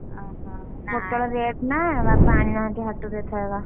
ପୋଟଳ rate ନା ବାପା ଆଣି ନାହାଁନ୍ତି ହାଟରୁ ଏଥରକ।